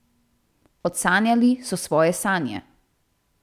Odsanjali so svoje sanje.